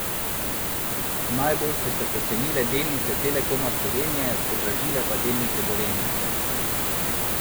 Najbolj so se pocenile delnice Telekoma Slovenije, podražile pa delnice Gorenja.